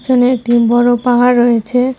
এখানে একটি বড়ো পাহাড় রয়েছে।